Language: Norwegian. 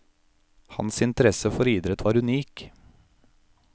Hans interesse for idrett var unik.